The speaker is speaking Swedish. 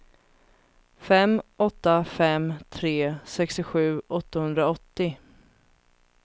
fem åtta fem tre sextiosju åttahundraåttio